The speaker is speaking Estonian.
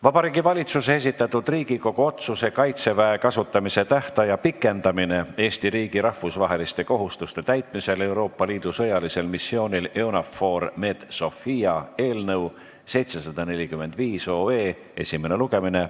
Vabariigi Valitsuse esitatud Riigikogu otsuse "Kaitseväe kasutamise tähtaja pikendamine Eesti riigi rahvusvaheliste kohustuste täitmisel Euroopa Liidu sõjalisel missioonil EUNAVFOR Med/Sophia" eelnõu 745 esimene lugemine.